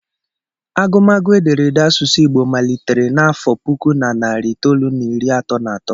Agụmagụ ederede asụsụ Igbo malitere n'afọ puku na narị itoolu na iri atọ na atọ